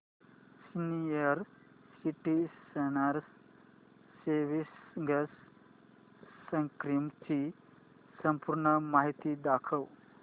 senior citizens savings scheme ची संपूर्ण माहिती दाखव